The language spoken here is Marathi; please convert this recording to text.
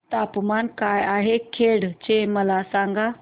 तापमान काय आहे खेड चे मला सांगा